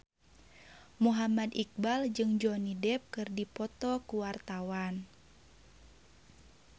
Muhammad Iqbal jeung Johnny Depp keur dipoto ku wartawan